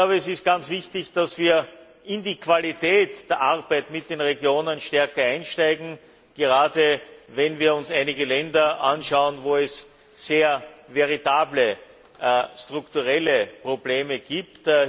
Es ist ganz wichtig, dass wir in die Qualität der Arbeit mit den Regionen stärker einsteigen, gerade, wenn wir uns einige Länder anschauen, wo es sehr veritable, strukturelle Probleme gibt.